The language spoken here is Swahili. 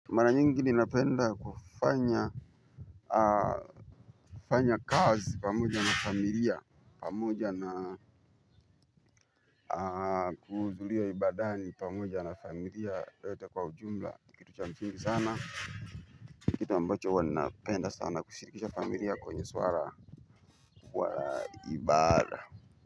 Mara nyingi ninapenda kufanya kazi pamoja na familia pamoja na kuhudhuria ibadani pamoja na familia yote kwa ujumla ni kitu cha msingi sana. Kitu ambacho huwa ninapenda sana kusirikisha familia kwenye swara kwa ibada.